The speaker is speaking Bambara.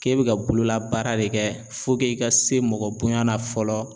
K'e bɛ ka bololabaara de kɛ i ka se mɔgɔbonya na fɔlɔ